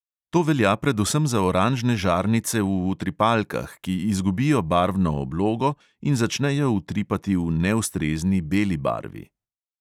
To velja predvsem za oranžne žarnice v utripalkah, ki izgubijo barvno oblogo in začnejo utripati v neustrezni beli barvi.